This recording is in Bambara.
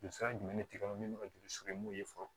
Joli sira jumɛn tigɛ kɔnɔ min bɛ ka jolisira mun fɔ